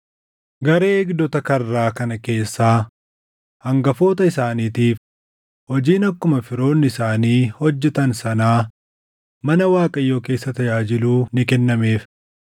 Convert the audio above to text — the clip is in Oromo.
Garee eegdota karraa kana keessaa hangafoota isaaniitiif hojiin akkuma firoonni isaanii hojjetan sanaa mana Waaqayyoo keessa tajaajiluu ni kennameef.